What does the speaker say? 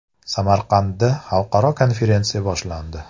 Samarqandda xalqaro konferensiya boshlandi.